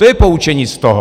To je poučení z toho.